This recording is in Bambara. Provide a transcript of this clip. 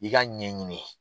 I k'a ɲɛ ɲini